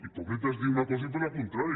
hipòcrita és dir una cosa i fer la contrària